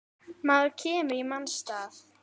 Maður kemur í manns stað.